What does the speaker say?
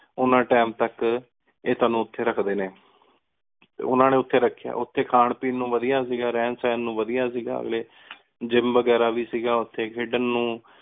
ਓਹਨਾ Time ਤਕ ਇਹ ਤੁਹਾਨੂ ਓਥੀ ਰਖਦੀ ਨੀ ਟੀ ਓਹਨਾ ਨੀ ਓਥੀ ਓਥੀ ਖਾਨ ਪੀਣ ਨੂ ਵਾਦਿਯ ਸੀ ਗਾ ਰੇਹਾਨ ਸੇਹਾਂ ਨੂ ਵਾਦਿਯ ਸੀ ਗਾ ਅਗਲੀ ਗ੍ਯ੍ਮ ਵਗੇਰਾ ਵੀ ਸੀ ਗਾ ਓਥੀ ਖੇਡਾਂ ਨੂ